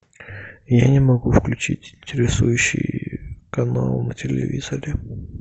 я не могу включить интересующий канал на телевизоре